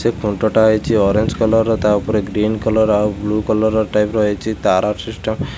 ଖୁଣ୍ଟଟା ହେଇଚି orange colour ର। ତା ଉପରେ ଗ୍ରୀନ କଲର୍ ଆଉ ବ୍ଲୁ କଲର୍ ଟାଇପ୍ ର ହେଇଚି ତାର ସିଷ୍ଟମ୍ । ସେ